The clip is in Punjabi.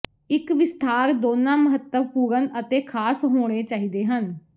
ਇੱਕ ਵਿਸਥਾਰ ਦੋਨਾਂ ਮਹੱਤਵਪੂਰਣ ਅਤੇ ਖਾਸ ਹੋਣੇ ਚਾਹੀਦੇ ਹਨ